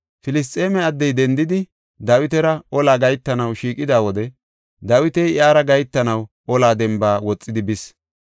Filisxeeme addey dendidi, Dawitara olaa gahetanaw shiiqida wode Dawiti iyara gahetanaw ola demba woxidi bis.